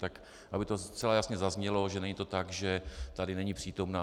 Tak aby to zcela jasně zaznělo, že není to tak, že tady není přítomna.